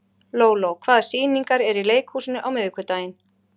Lóló, hvaða sýningar eru í leikhúsinu á miðvikudaginn?